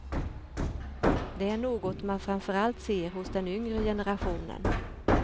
Det är något man framför allt ser hos den yngre generationen.